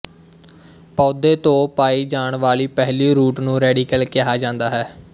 ਪੌਦੇ ਤੋਂ ਪਾਈ ਜਾਣ ਵਾਲੀ ਪਹਿਲੀ ਰੂਟ ਨੂੰ ਰੇਡੀਕਲ ਕਿਹਾ ਜਾਂਦਾ ਹੈ